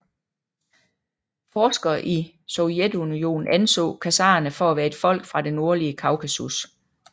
Forskere i Sovjetunionen anså khazarerne for at være et folk fra det nordlige Kaukasus